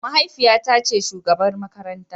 Mahaifiyata ce shugabar makarantar.